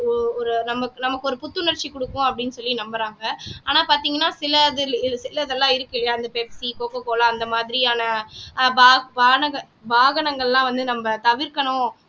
ஒரு நமக்கு நமக்கு ஒரு புத்துணர்ச்சி கொடுக்கும் அப்படின்னு சொல்லி நம்புறாங்க ஆனா பாத்தீங்கன்னா சிலது சிலது எல்லாம் இருக்கு இல்லையா அந்த Pepsi coca cola அந்த மாதிரியான ஆஹ் பானக வாகனங்கள் எல்லாம் வந்து நம்ம தவிர்க்கணும்